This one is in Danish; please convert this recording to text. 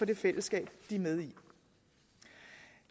det fællesskab de er med i